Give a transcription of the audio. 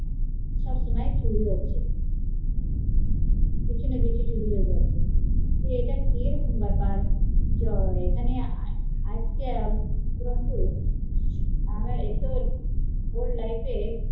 কিছু না কিছু চুরি হয়ে যাচ্ছে, ইটা কিরকম বেপার এরকম তো আগে কখনো হয়নি